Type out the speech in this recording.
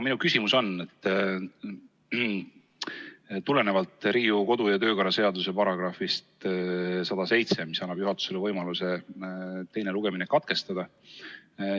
Minu küsimus tuleneb Riigikogu kodu- ja töökorra seaduse §‑st 107, mis annab juhatusele võimaluse teine lugemine katkestada.